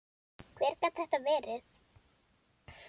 Hver gat þetta verið?